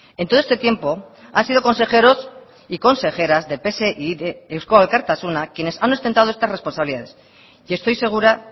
en todo este tiempo han sido consejeros y consejeras de pse y de eusko alkartasuna quienes han ostentado estas responsabilidades y estoy segura